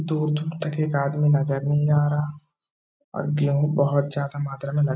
दूर दूर तक एक आदमी नजर नहीं आ रहा और गेहूं बहोत ज्यादा मात्रा में ल --